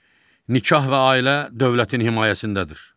Nikah və ailə dövlətin himayəsindədir.